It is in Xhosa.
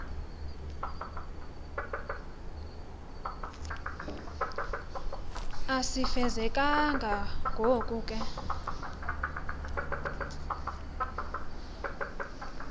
asifezekanga ngoko ke